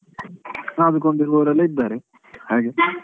ಆಡಿಕೊಂಡ್ ಇರುವವರೆಲ್ಲ ಇದ್ದಾರೆ ಹಾಗೆ .